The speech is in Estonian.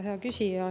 Hea küsija!